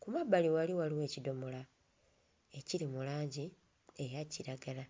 Ku mabbali wali waliwo ekidomola ekiri mu langi eya kiragala.